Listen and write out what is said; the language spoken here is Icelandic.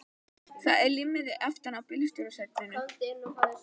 Það er límmiði aftan á bílstjórasætinu.